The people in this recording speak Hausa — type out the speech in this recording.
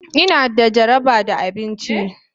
Ina da jaraba da abinci.